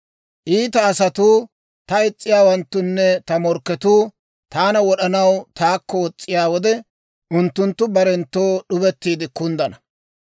Iita asatuu, ta is's'iyaawanttunne ta morkketuu taana wod'anaw taakko wos's'iyaa wode, Unttunttu barenttoo d'ubettiide kunddana.